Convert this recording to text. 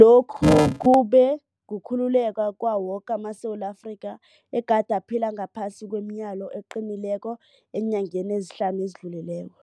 Lokhu kube kukhululeka kwawo woke amaSewula Afrika egade aphila ngaphasi kwemileyo eqinileko eenyangeni ezihlanu ezidlulileko.